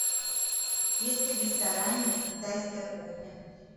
есть ли в ресторане китайская кухня